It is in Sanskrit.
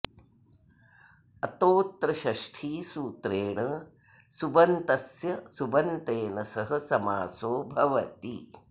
अतोऽत्र षष्ठी सूत्रेण सुबन्तस्य सुबन्तेन सह समासो भवति